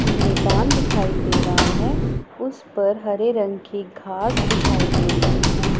मैदान दिखाई दे रहा है उस पर हरे रंग की घास दिखाई दे रही हैं।